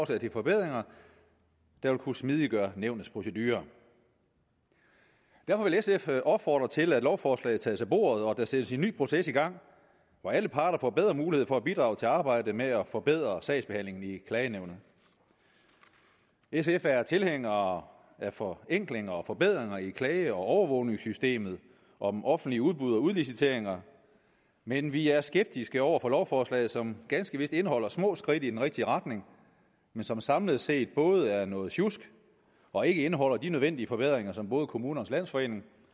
til forbedringer der vil kunne smidiggøre nævnets procedure derfor vil sf opfordre til at lovforslaget tages af bordet og der sættes en ny proces i gang hvor alle parter får bedre mulighed for at bidrage til arbejdet med at forbedre sagsbehandlingen i klagenævnet sf er tilhængere af forenklinger og forbedringer i klage og overvågningssystemet om offentlige udbud og udliciteringer men vi er skeptiske over for lovforslaget som ganske vist indeholder små skridt i den rigtige retning men som samlet set både er noget sjusk og ikke indeholder de nødvendige forbedringer som både kommunernes landsforening